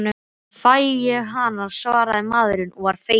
Þá fæ ég hana, svaraði maðurinn og var feginn.